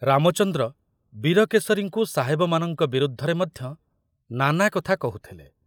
ରାମଚନ୍ଦ୍ର ବୀରକେଶରୀଙ୍କୁ ସାହେବମାନଙ୍କ ବିରୁଦ୍ଧରେ ମଧ୍ୟ ନାନା କଥା କହୁଥିଲେ।